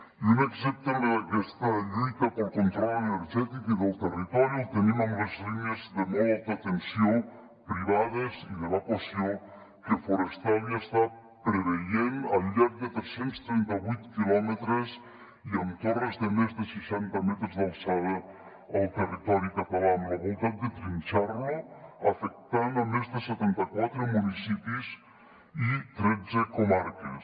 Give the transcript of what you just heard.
i un exemple d’aquesta lluita pel control energètic i del territori el tenim amb les línies de molt alta tensió privades i d’evacuació que forestalia està preveient al llarg de tres cents i trenta vuit quilòmetres i amb torres de més de seixanta metres d’alçada al territori català amb la voluntat de trinxar lo afectant més de setanta quatre municipis i tretze comarques